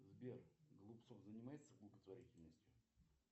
сбер голубцов занимается благотворительностью